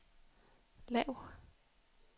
lav